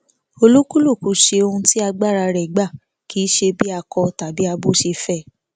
olúkúlùkù ṣe ohun tí agbára rẹ gbà kì í ṣe bí akọ tàbí abo ṣe fẹ